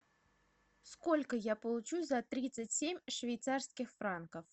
сколько я получу за тридцать семь швейцарских франков